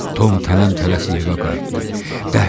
Tom tələm-tələsik evə qayıtdı.